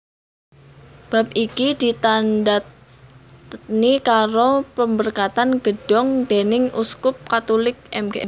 Bab iki ditandhanikaro pemberkatan gedhong déning uskup Katulik Mgr